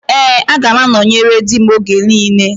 Ee, aga m anọnyere di m oge niile